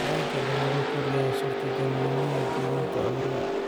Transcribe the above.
Taranka dhow wuxuu kordhiyaa suurtagalnimada gudbinta cudurrada.